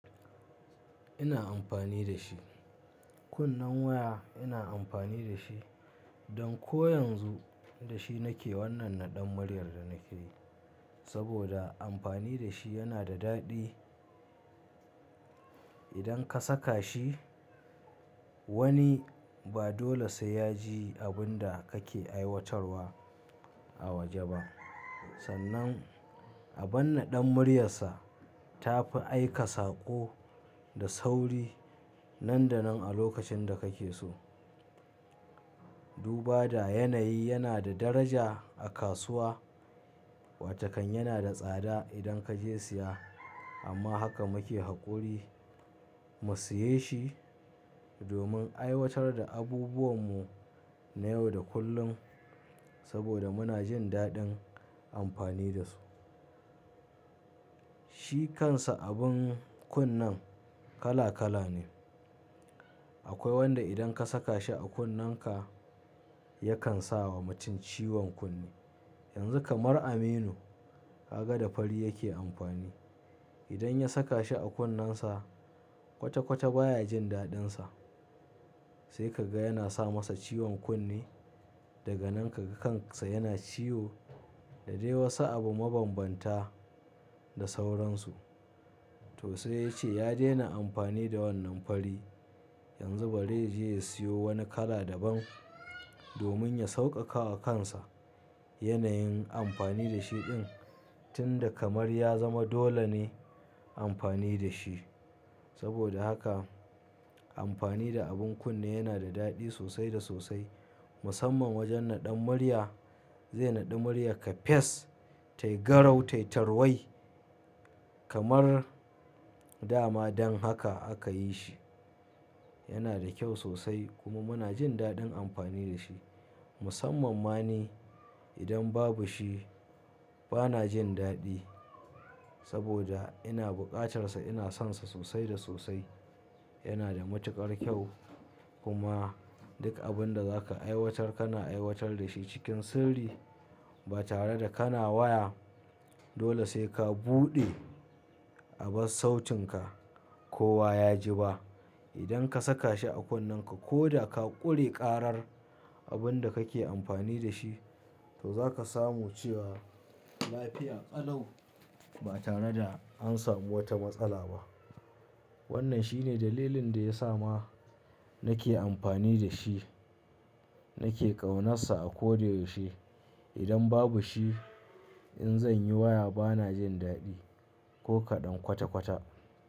Ina amfani da shi. Kunnan waya ina amfani da shi, don ko yanzu da shi nake wannan naɗan muriyar da nake yi. Saboda amfani da shi yana da daɗi. Idan ka saka shi, wani ba dole sai ya ji abin da kake aiwatarwa a waje ba. Sannan abin naɗan muryarsa ta fi aika saƙo da sauri nan da nan a lokacin da kake so. Duba da yanayi yana da daraja a kasuwa, watakan yana da tsada idan kaje siya amma haka muke haƙuri mu siye shi domin aiwatar da abubuwan mu na yau da kullum. Saboda muna jin daɗin amfani da su. Shi kansa abin kunnen kala kala ne. Akwai wanda idan ka saka shi a kunnenka yakan sawa mutum ciwon kunne. Yanzu kamar Aminu ka ga da fari yake amfani. Idan ya saka shi a kunnensa kwata kwata baya jin daɗinsa. Sai ka ga yana sa masa ciwon kunne daga nan ka ga kansa yana ciwo da dai wasu abu mabambanta da sauransu. To sai ya ce ya daina amfani da wannan fari. Yanzu bari yaje ya siyo wani kala daban domin ya sauƙaƙa wa kansa yanayin amfani da shi din tun da kamar ya zama dole ne amfani da shi. Saboda haka amfani da abin kunne yana da daɗi sosai da sosai. Musamman wajen naɗan murya zai naɗi muryar ka fes, tai garau, tai tarwai kamar da ma dan haka aka yi shi. Yana da kyau sosai kuma muna jin daɗin amfani da shi. Musammamma ni idan babu shi bana jin daɗi saboda ina buƙatar sa, ina son sa sosai da sosai. Yana da matuƙar kyau kuma duk abin da za ka aiwatar ka na aiwatar da shi cikin sirri ba tare da kana waya. Dole sai ka buɗe abas sautinka kowa ya ji ba. Idan ka saka shi a kunnenka ko da ka ƙure karar abin da kake amfani da shi to zaka samu cewa lafiya ƙalau ba tare da an samu wata matsala ba. Wannan shine dalilin da ya sa ma nake amfani da shi. Nake ƙaunarsa a ko da yaushe. Idan babu shi in zanyi waya bana jin daɗi ko kaɗan kwata kwata.